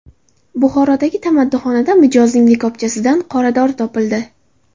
Buxorodagi tamaddixonada mijozning likopchasidan qoradori topildi.